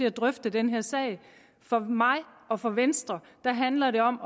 at drøfte den her sag for mig og for venstre handler det om